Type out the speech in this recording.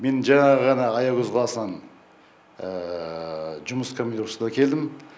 мен жаңа ғана аягөз қаласынан жұмыс командировкасына келдім